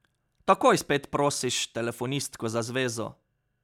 Takoj spet prosiš telefonistko za zvezo.